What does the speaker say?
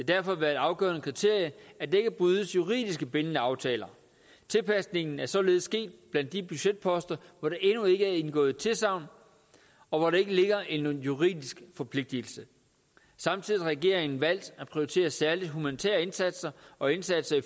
derfor været et afgørende kriterie at der ikke brydes juridisk bindende aftaler tilpasningen er således sket blandt de budgetposter hvor der endnu ikke er indgået tilsagn og hvor der ikke ligger en juridisk forpligtelse samtidig har regeringen valgt at prioritere særlig humanitære indsatser og indsatser i